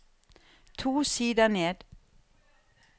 To sider ned